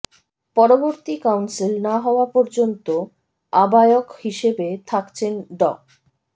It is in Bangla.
পরবর্তী কাউন্সিল না হওয়ার পর্যন্ত আহ্বায়ক হিসেবে থাকছেন ড